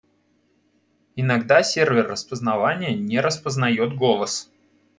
иногда сервер распознавания не распознаёт голос